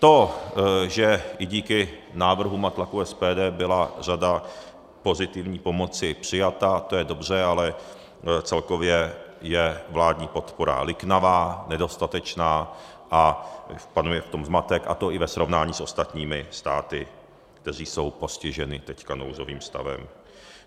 To, že i díky návrhům a tlaku SPD byla řada pozitivní pomoci přijata, to je dobře, ale celkově je vládní podpora liknavá, nedostatečná a panuje v tom zmatek, a to i ve srovnání s ostatními státy, které jsou postiženy teď nouzovým stavem.